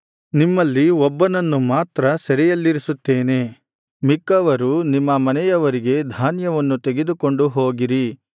ನಿಮ್ಮಲ್ಲಿ ಒಬ್ಬನನ್ನು ಮಾತ್ರ ಸೆರೆಯಲ್ಲಿರಿಸುತ್ತೇನೆ ಮಿಕ್ಕವರು ನಿಮ್ಮ ಮನೆಯವರಿಗೆ ಧಾನ್ಯವನ್ನು ತೆಗೆದುಕೊಂಡು ಹೋಗಿರಿ